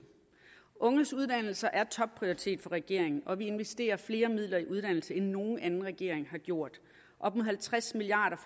unges uddannelser er topprioritet for regeringen og vi investerer flere midler i uddannelse end nogen anden regering har gjort op mod halvtreds milliard